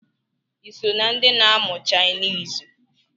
Iso na ndi na-amụ chainisi?